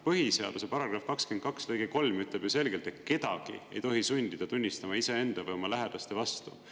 Põhiseaduse § 22 lõige 3 ütleb ju selgelt, et kedagi ei tohi sundida tunnistama iseenda või oma lähedaste vastu.